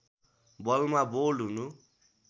बलमा बोल्ड हुनु